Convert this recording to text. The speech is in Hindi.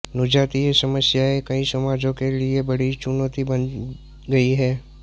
नृजातीय समस्याएँ कई समाजों के लिए बड़ी चुनौती बन गई हैं